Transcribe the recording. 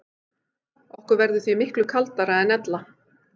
Okkur verður því miklu kaldara en ella.